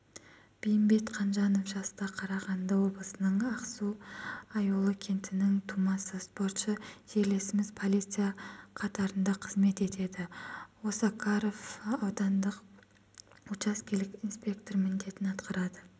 бейімбет қанжанов жаста қарағанды облысының ақсу-аюлы кентінің тумасы спортшы жерлесіміз полиция қатарында қызмет етеді осакаров аудандық учаскелік инспектор міндетін атқарады